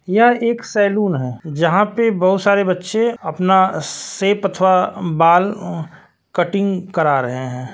यह एक सलून है जहाँ पे बहुत सारे बच्चे अपना शेप अथवा बाल अ कटीन्ग करा रहे हैं।